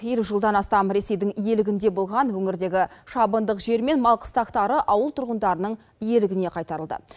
елу жылдан астам ресейдің иелігінде болған өңірдегі шабындық жер мен мал қыстақтары ауыл тұрғындарының иелігіне қайтарылды